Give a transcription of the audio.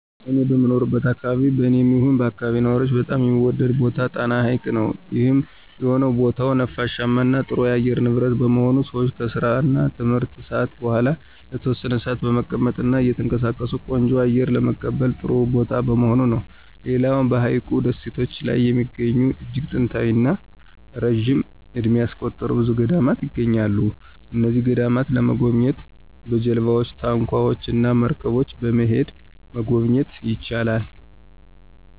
እኔ በምኖርበት አከባቢ በኔም ይሁን በአከባቢው ነዋሪዎች በጣም የሚወደደው ቦታ ጣና ሀይቅ ነው። ይህም የሆነው ቦታው ነፋሻማ እና ጥሩ የአየር ንብረት በመሆኑ ሰወች ከስራ እና ትምህርት ሰአት በኋላ ለተወሰነ ሰአታት በመቀመጥ እና እየተንቀሳቀሱ ቆንጆ አየር ለመቀበል ጥሩ ቦታ በመሆኑ ነው። ሌላው በሀይቁ ደሴቶች ላይ የሚገኙ እጅግ ጥንታዊ እና ረጅም እድሜ ያስቆጠሩ ብዙ ገዳማት ይገኛሉ። እነዚህን ገዳማት ለመጎብኘት በጀልባወች፣ ታንኳወች እና መርገቦች በመሄድ መጎብኘት ይቻላል።